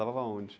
Lavava onde?